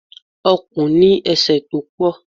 Ọ̀kùn ní ese tó pọ̀.